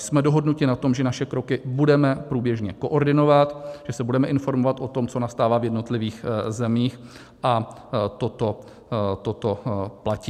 Jsme dohodnuti na tom, že naše kroky budeme průběžně koordinovat, že se budeme informovat o tom, co nastává v jednotlivých zemích, a toto platí.